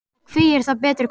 Og hví er það betri kostur?